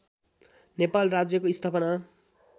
नेपाल राज्यको स्थापना